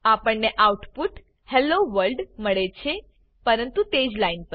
આપણ ને output hello world મળે છે પરંતુ તે જ લાઇન પર